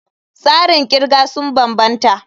Tsarin kirga sun bambanta.